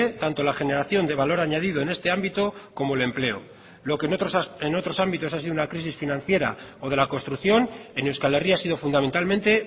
tanto la generación de valor añadido en este ámbito como el empleo lo que en otros ámbitos ha sido una crisis financiera o de la construcción en euskal herria ha sido fundamentalmente